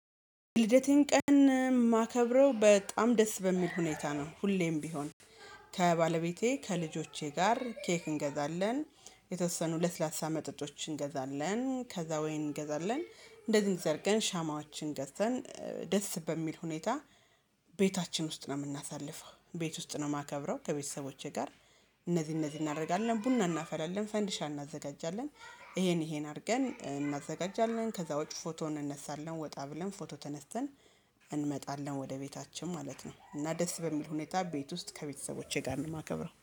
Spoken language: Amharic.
ልደቴን ቀን የማከብረው በጣም ደስ በሚል ሁኔታ ነው ሁሌም ቢሆን። ከባለቤቴ፥ ከልጆቼ ጋር ኬክ እንገዛለን፥ የተወሰኑ ለስላሳ መጠጦች እንገዛለን፥ ከዛ ወይን እንገዛለን እንደዚህ አድርገን ሻማዎችን ገዝተን ደስ በሚል ሁኔታ ቤታችን ውስጥ ነው የምናሳልፈው። ቤት ውስጥ ነው የማከብረው ከቤተሰቦቼ ጋር እነዚህ እነዚህ እናደርጋለን ቡና እናፈላለን ፥ፈንድሻ እናዘጋጃለን ይሄን ይሄን አድርገን እናዘጋጃለን ከዛ ውጪ ፎቶ እንነሳለን ወጣ ብለን ፎቶ ተነስተን እንመጣለን ወደ ቤታችን ማለት ነው። እና ደስ በሚል ሁኔታ ቤት ውስጥ ከቤተሰቦቼ ጋር ነው የማከብረው።